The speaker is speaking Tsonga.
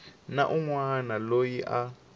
na un wana loyi a